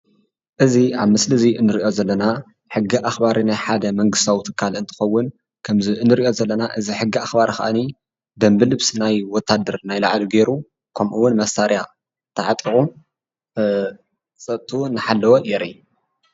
እዚ ኣብ ምስሊ እዚ እንሪኦ ዘለና ሕጊ ኣኽባሪ ናይ ሓደ መንግስታዊ ትካል እንትኸውን ከምዚ እንሪኦ ዘለና እዚ ሕጊ ኣኽባሪ ኸኣኒ ደንቢ ልብሲ ናይ ወታደር ናይ ላዕሊ ገይሩ ከምኡ ውን መሳርሒኡ ተዓጢቑ ፀጥትኡ እናሓለወ የርኢ፡፡